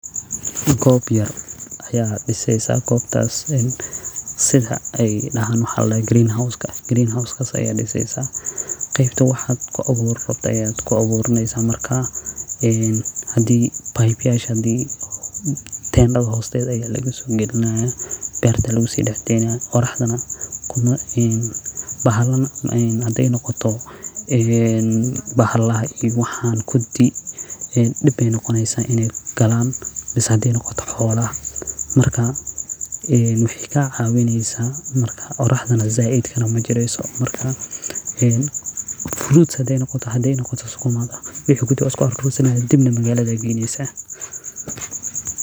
Goob yar aya dhiseysa gobtas en sida ay dahan mxa la daha green house hoos ka ayaa dhiseysa qeybta waxaad ku abuurayaan ku abuuraneysa markaa een hadii neyb yasha hadi tendatha hosteda aya laga soo gelinayaa berta lugu si dahdeynaya qoraxda nah haday noqoto inay galaan is haday noqoto bahalaha iyo waxan xoolaha markaa ee maxay ka caawineysaa marka qoraahdana zaidkana ma jireyso marka en fruits haday noqoto haday noqoto sukumaga wixi kudi wan isku arursanaya kadib neh magaalada geyneysa.